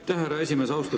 Aitäh, härra esimees!